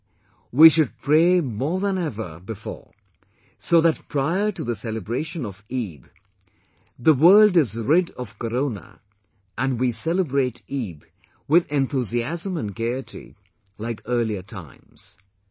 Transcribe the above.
This time, we should pray more than ever before so that prior to the celebration of Eid the world is rid of Corona and we celebrate Eid with enthusiasm and gaiety like earlier times